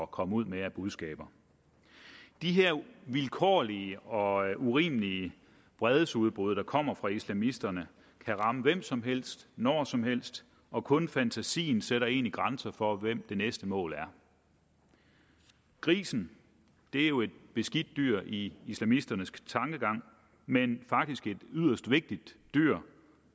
komme ud med af budskaber de her vilkårlige og urimelige vredesudbrud der kommer fra islamisterne kan ramme hvem som helst når som helst og kun fantasien sætter egentlig grænsen for hvem det næste mål er grisen er jo et beskidt dyr i islamisternes tankegang men faktisk et yderst vigtigt dyr